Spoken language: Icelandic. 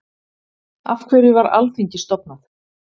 af hverju var alþingi stofnað